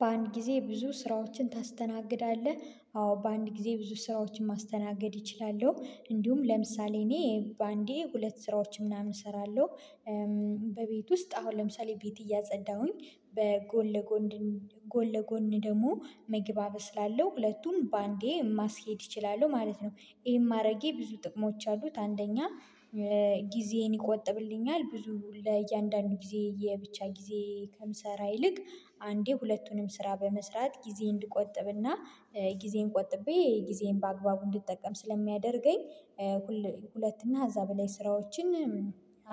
በአንድ ጊዜ ብዙ ስራዎችን ታስተናግዳለህ? አዎ በአንድ ጊዜ ብዙ ስራዎችን ማስተናገድ እችላለሁ እንዲሁም ለምሳሌ እኔ በአንዴ ሁለት ስራዎችን ምናምን እሰራለሁ በቤት ውስጥ አሁን ለምሳሌ ቤት እያጸዳሁኝ በጎን ለጎን ለጎን ጎን ለጎን ደግሞ ምግብ አበስላለሁ ሁለቱን በአንዴ ማስኬድ እችላለሁ ማለት ነው ይሄን ማረጌ ብዙ ጥቅሞች አሉት አንደኛ ጊዜን ይቆጥብልኛል ብዙ ለእያንዳንዱ ጊዜ የብቻ ጊዜ ከምሰራ ይልቅ አንዴ ሁለቱንም ስራ በመስራት ጊዜ እንድቆጥብና ጊዜን ቆጥቤ ጊዜን በአግባቡ እንድጠቀም ስለሚያደርገኝ ሁለት እና ኸዛ በላይ ስራዎችን